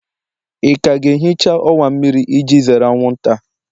ị ka ga-ehicha ọwa mmiri iji zere anwụnta?